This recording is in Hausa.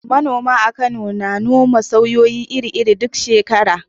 Manoma a Kano na noma saiwoyi iri-iri a duk shekara.